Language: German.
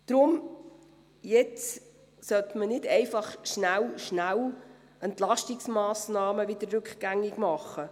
Deshalb sollte man nun nicht einfach auf die Schnelle Entlastungsmassnahmen wieder rückgängig machen.